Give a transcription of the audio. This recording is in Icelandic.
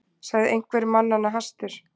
sagði einhver mannanna hastur.